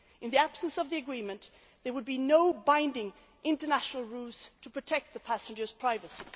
year. In the absence of the agreement, there would be no binding international rules to protect the passengers'